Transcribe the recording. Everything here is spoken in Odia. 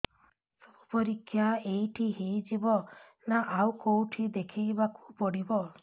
ସବୁ ପରୀକ୍ଷା ଏଇଠି ହେଇଯିବ ନା ଆଉ କଉଠି ଦେଖେଇ ବାକୁ ପଡ଼ିବ